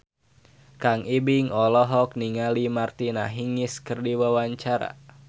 Kang Ibing olohok ningali Martina Hingis keur diwawancara